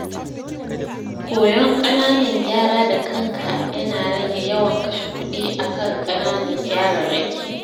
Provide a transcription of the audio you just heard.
Koyon ƙananan gyara da kanka yana rage yawan kashe kuɗi akan ƙananan gyararraki.